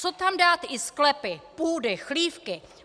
Co tam dát i sklepy, půdy, chlívky!